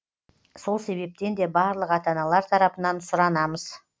сол себептен де барлық ата аналар тарапынан сұранамыз